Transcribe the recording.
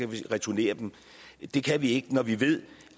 vi returnere dem det kan vi ikke når vi ved